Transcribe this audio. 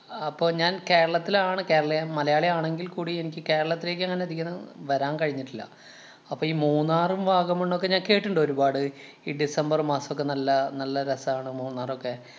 അപ്പൊ ഞാന്‍ കേരളത്തിലാണ് കേരളി~ മലയാളി ആണെങ്കില്‍ കൂടി എനിക്ക് കേരളത്തിലേക്കങ്ങനെ അധികം വരാന്‍ കഴിഞ്ഞിട്ടില്ല. അപ്പൊ ഈ മൂന്നാറും, വാഗമണ്ണൊക്കെ ഞാന്‍ കേട്ടിട്ടുണ്ട് ഒരുപാട്. ഈ ഡിസംബര്‍ മാസൊക്കെ നല്ല നല്ല രസാണ് മൂന്നാറൊക്കെ.